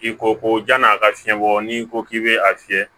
I ko ko jan'a ka fiɲɛ bɔ n'i ko k'i be a fiyɛ